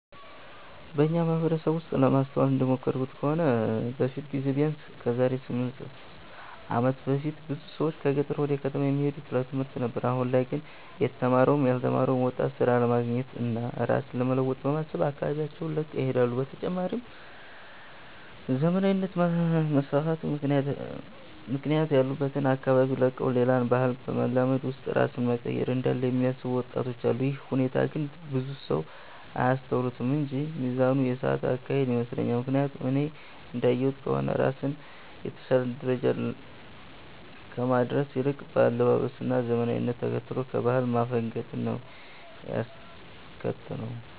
በኛ ማህበረሰብ ውስጥ ለማስተዋል እንደሞከርኩት ከሆነ በፊት ጊዜ ቢያነስ ከዛሬ 8 አመት በፊት ብዙ ሰዎች ከገጠር ወደ ከተማ የሚሄዱት ለትምህርት ነበር አሁን ላይ ግን የተማረውም ያልተማረው ወጣት ስራ ለማግኘት እና ራስን ለመለወጥ በማሰብ አካባቢያቸውን ለቀው ይሄዳሉ። በተጨማሪም ዘመናዊነት በመስፋፋቱ ምክንያት ያሉበትን አካባቢ ለቀው ሌላን ባህል በማላመድ ውስጥ ራስን መቀየር እንዳለ የሚያስቡ ወጣቶች አሉ። ይህ ሁኔታ ግን ብዙ ሰው አያስተውሉትም እንጂ ሚዛኑን የሳተ አካሄድ ይመስለኛል። ምክያቱም እኔ እንዳየሁት ከሆነ ራስን የተሻለ ደረጃ ከማድረስ ይልቅ በአለባበስ እና ዘመናዊነትን ተከትሎ ከባህል ማፈንገጥን ነው ያስከተለው።